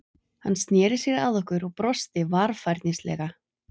Hann sneri sér að okkur og brosti varfærnislega.